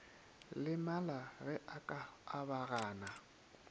lemala ge a ka abagana